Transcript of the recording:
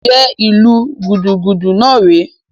Njẹ ìlu gudugudu náà rè é?